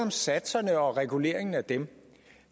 om satserne og reguleringen af dem